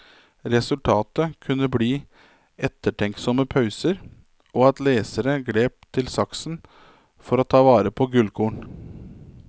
Resultatet kunne bli ettertenksomme pauser, og at lesere grep til saksen for ta vare på gullkorn.